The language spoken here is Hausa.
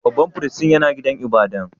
Babban firistin yana gidan ibada'n?